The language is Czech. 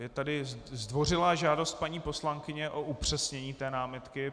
Je tady zdvořilá žádost paní poslankyně o upřesnění té námitky.